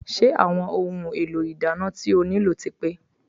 Ṣé àwọn ohun èlò ìdáná tí o nílò ti pé?